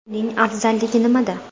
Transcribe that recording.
Uning afzalligi nimada?.